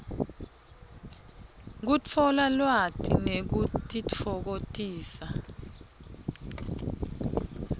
kutfola lwati nekutitfokotisa